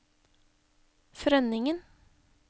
Frønningen